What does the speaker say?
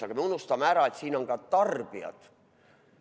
Aga me unustame ära, et siin on ka tarbijad.